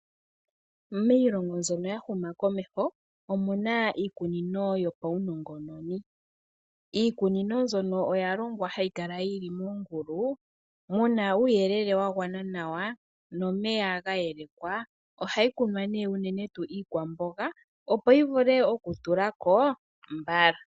Miilongo mbyono ya huma komeho omuna iikunino yopaunongononi. Iikunino mbyono oya longwa hayi kala yili moongulu, muna uuyelele wa gwana nawa nomeya ga yelekwa. Ohayi kunwa nee unene tuu iikwamboga opo yi vule oku tulako mbala.